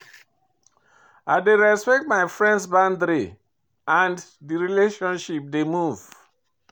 I dey respect my friends boundary and di relationship dey move.